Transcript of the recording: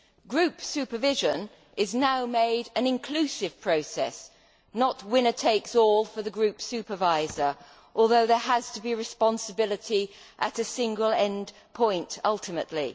Group supervision is now made an inclusive process, not winner takes all for the group supervisor, although there has to be responsibility at a single end point ultimately.